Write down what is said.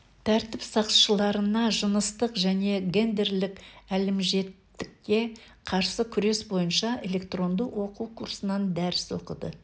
тәртіп сақшыларына жыныстық және гендерлік әлімжеттікке қарсы күрес бойынша электронды оқу курсынан дәріс оқиды